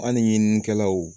An ni ɲininikɛlaw